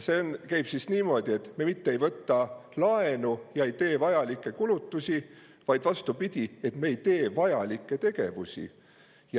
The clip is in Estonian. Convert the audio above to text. See ei käi niimoodi, et me võtame laenu ja teeme vajalikke kulutusi, vaid vastupidi, me ei tee vajalikke tegevusi.